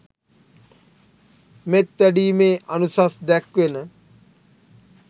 මෙත් වැඩීමේ අනුසස් දැක්වෙන